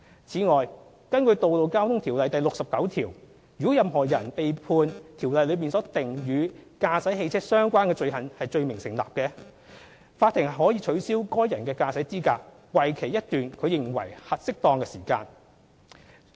此外，根據《條例》第69條，如果任何人被判《條例》所訂與駕駛汽車相關的罪行罪名成立，法庭可取消該人的駕駛資格為期一段其認為適當的期間。